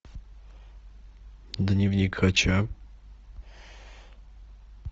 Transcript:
дневник хача